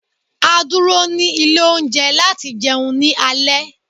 A dúró ni ilé oúnje láti jeun ni alé